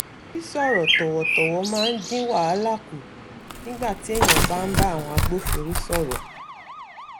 sísọ̀ọ̀rọ̀ tọ̀wọ̀tọ̀wọ̀ máa ń dín wàhálà kù nígbà téèyàn bá ń bá àwọn agbófinró sọ̀rọ̀